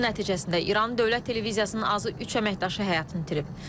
Hücum nəticəsində İranın dövlət televiziyasının azı üç əməkdaşı həyatını itirib.